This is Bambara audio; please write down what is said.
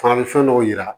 Fana ni fɛn dɔw yira